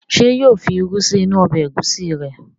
Ṣé yóò fi irú sí inú ọbẹ̀ ẹ̀gúsí rẹ̀?